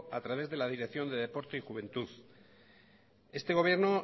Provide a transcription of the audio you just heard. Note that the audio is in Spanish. a través de la dirección de deporte y juventud este gobierno